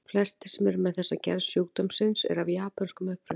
Flestir sem eru með þessa gerð sjúkdómsins eru af japönskum uppruna.